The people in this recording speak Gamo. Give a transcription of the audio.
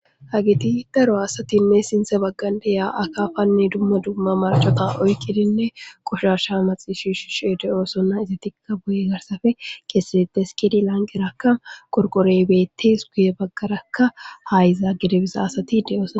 hageti daro asatinne sinthe baggandiyaa akaafanne dumma dumma marcota oykkidinne qoshasha maxi shishi she deyoosona izi tikka boye garsafe keessetete s kidi lanqi rakka korqorey beettees guye baggarakka hayza gedebisa asati de7os